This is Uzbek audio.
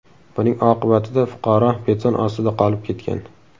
Buning oqibatida fuqaro beton ostida qolib ketgan.